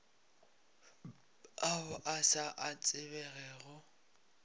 ao a sa a tsebegego